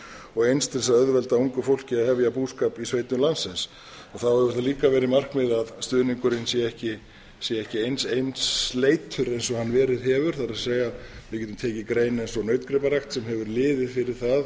og eins til þess að auðvelda ungu fólki að hefja búskap í sveitum landsins þá hefur það líka verið markmið að stuðningurinn sé ekki eins einsleitur og hann verið hefur við getum tekið grein eins og nautgriparækt sem hefur liðið fyrir